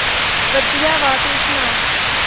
ਵਧੀਆ ਵਾ ਤੂੰ ਸੁਣਾ।